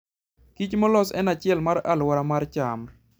Kich molos en achiel mar aluora mar cham.